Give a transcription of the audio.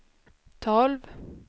tolv